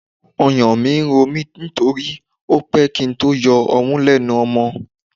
Ọyàn ń ro mí torí ó pẹ́ kí n tó yọ ọmú lẹ́nu ọmọ.